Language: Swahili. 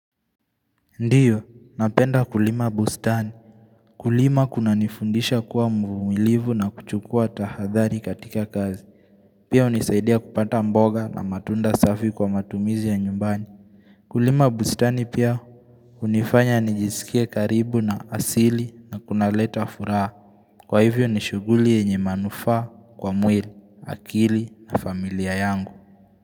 Ndiyo, napenda kulima bustani Kulima kunanifundisha kuwa mvumilivu na kuchukua tahadhari katika kazi Pia hunisaidia kupata mboga na matunda safi kwa matumizi ya nyumbani Kulima bustani pia hunifanya nijiskie karibu na asili na kunaleta furaha Kwa hivyo nishughuli yenye manufaa kwa mwili, akili na familia yangu.